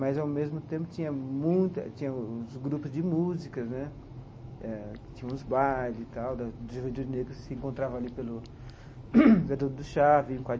Mas, ao mesmo tempo, tinha muita tinha os grupos de músicas né, eh tinha os bailes e tal da dos jovens negros que se encontravam ali pelo Viaduto do Chá.